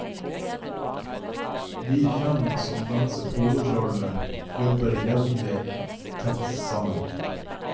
Vi fem som danset hovedrollene, jobbet veldig tett sammen.